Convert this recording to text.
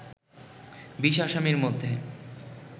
২০ আসামির মধ্যে